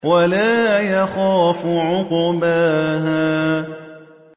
وَلَا يَخَافُ عُقْبَاهَا